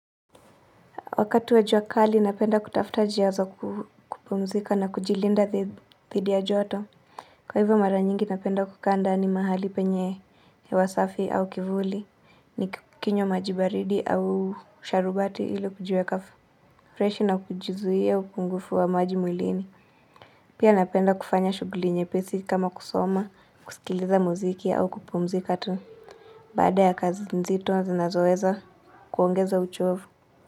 Wakati wa juakali napenda kutafuta njia za ku kupumzika na kujilinda dhi dhidi ya joto. Kwa hivyo mara nyingi napenda kukaa ndani mahali penye hewa safi au kivuli. Nikinywa majibaridi au sharubati ili kujiekafu. Freshi na kujizuia upungufu wa maji mwilini. Pia napenda kufanya shughuli nyepesi kama kusoma, kusikiliza muziki au kupumzika tu. Baada ya kazi nzito zinazoweza kuongeza uchovu.